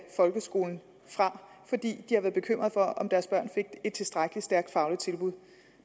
folkeskolen fra fordi de har været bekymrede for om deres børn fik et tilstrækkelig stærkt fagligt tilbud